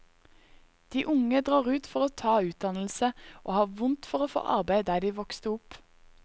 De unge drar ut for å ta utdannelse og har vondt for å få arbeid der de vokste opp.